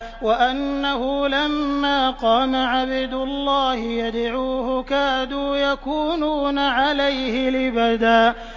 وَأَنَّهُ لَمَّا قَامَ عَبْدُ اللَّهِ يَدْعُوهُ كَادُوا يَكُونُونَ عَلَيْهِ لِبَدًا